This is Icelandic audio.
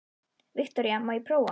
Viktoría: Má ég prófa?